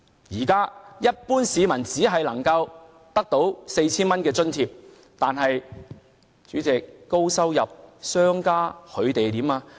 一般市民現在只能獲得 4,000 元津貼，但是在高收入下，商家又怎樣呢？